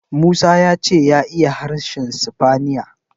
Musa ya ce ya iya harshen sifaniya.